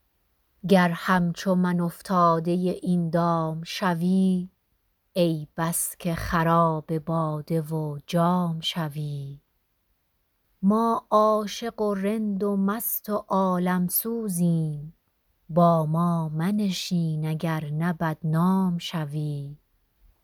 گر همچو من افتاده این دام شوی ای بس که خراب باده و جام شوی ما عاشق و رند و مست و عالم سوزیم با ما منشین اگر نه بدنام شوی